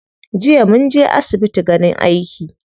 Jiya munje asbitin ganin aiki.